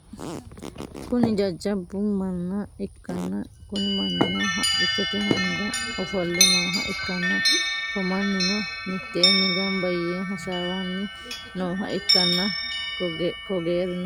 Kuni jahabba manna ikkanna Kuni mannino haqqichote hundda ofolle nooha ikkanna ko mannino mittenni gambba yee hasaawanni nooha ikkanna ko geerino udirinoti gaawete